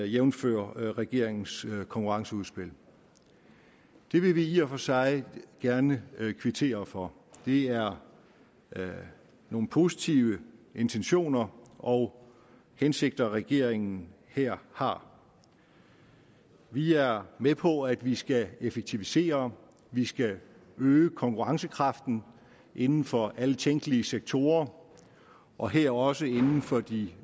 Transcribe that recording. jævnfør regeringens konkurrenceudspil det vil vi i og for sig gerne kvittere for det er nogle positive intentioner og hensigter regeringen her har vi er med på at vi skal effektivisere vi skal øge konkurrencekraften inden for alle tænkelige sektorer og her også inden for de